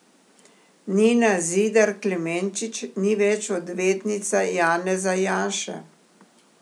Nina Zidar Klemenčič ni več odvetnica Janeza Janše.